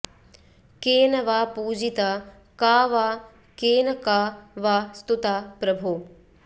केन वा पूजिता का वा केन का वा स्तुता प्रभो